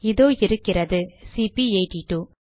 இதோ இருக்கிறது சிபி82